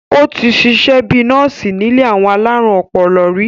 ó ti sisẹ́ bíi nọ́ọ̀sì nílé àwọn alárùn ọpọlọ rí